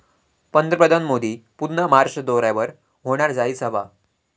पंतप्रधान मोदी पुन्हा महाराष्ट्र दौऱ्यावर, होणार जाहीर सभा